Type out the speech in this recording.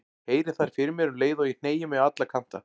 Heyri þær fyrir mér um leið og ég hneigi mig á alla kanta.